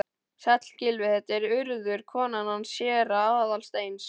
Sæll, Gylfi, þetta er Urður, konan hans séra Aðal steins.